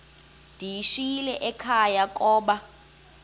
ndiyishiyile ekhaya koba